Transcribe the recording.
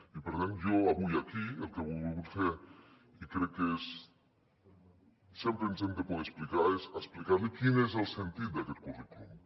i per tant jo avui aquí el que he volgut fer i crec que sempre ens hem de poder explicar és explicar li quin és el sentit d’aquest currículum